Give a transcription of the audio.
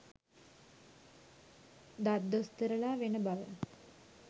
දත් දොස්තරලා වෙන බව